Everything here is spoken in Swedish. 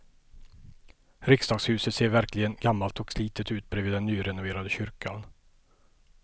Riksdagshuset ser verkligen gammalt och slitet ut bredvid den nyrenoverade kyrkan.